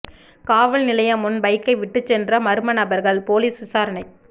காவல் நிலையம் முன் பைக்கை விட்டுச் சென்ற மா்ம நபா்கள் போலீஸ் விசாரணை